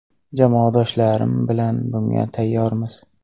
Jamoadoshlarim bilan bunga tayyormiz.